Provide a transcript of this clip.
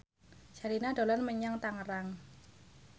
Sherina dolan menyang Tangerang